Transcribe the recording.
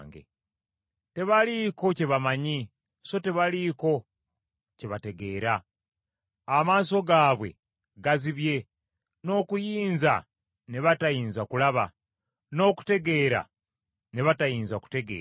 Tebaliiko kye bamanyi so tebaliiko kye bategeera, amaaso gaabwe gazibye n’okuyinza ne batayinza kulaba, n’okutegeera ne batayinza kutegeera.